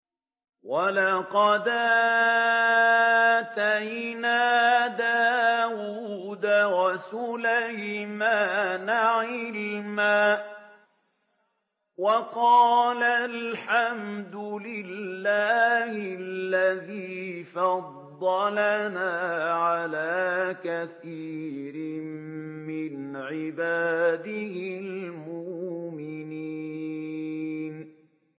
وَلَقَدْ آتَيْنَا دَاوُودَ وَسُلَيْمَانَ عِلْمًا ۖ وَقَالَا الْحَمْدُ لِلَّهِ الَّذِي فَضَّلَنَا عَلَىٰ كَثِيرٍ مِّنْ عِبَادِهِ الْمُؤْمِنِينَ